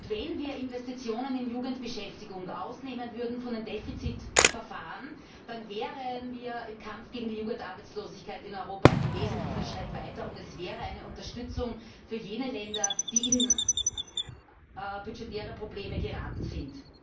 Wenn wir Investitionen in Jugendbeschäftigung von den Defizitverfahren ausnehmen würden, dann wären wir im Kampf gegen die Jugendarbeitslosigkeit in Europa einen wesentlichen Schritt weiter, und das wäre eine Unterstützung für jene Länder, die in budgetäre Probleme geraten sind.